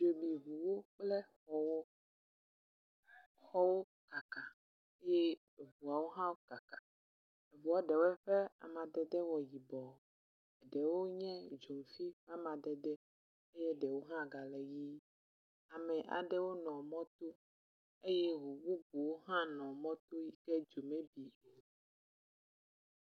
Dzo bi ŋuwo kple xɔwo, xɔwo kaka ye eŋuawo ha kaka, ŋua ɖewo ƒe amadede wɔ yibɔ, ɖewo hã nye dzofi amadede eye ɖewo hã gale ʋii ame aɖewo nɔ mɔ to eye amea ɖewo eye ŋu bubuwo hã nɔ mɔ to be dzo ne bi